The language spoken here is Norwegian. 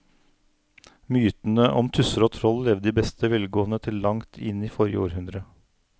Mytene om tusser og troll levde i beste velgående til langt inn i forrige århundre.